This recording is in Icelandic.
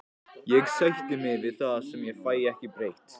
Ég sætti mig við það sem ég fæ ekki breytt.